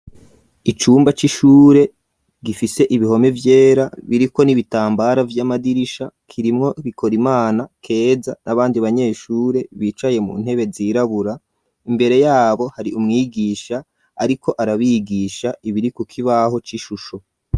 Icumba c'ishure, gifise ibihome vyera, biriko n'ibitambara, vy'amadirisha, kirimwo Bikorimana, Keza, n'abandi banyeshure; bicaye mu ntebe, zirabura; imbere yabo, hari umwigisha, ariko arabigisha, ibiri ku kibaho c'ishusho.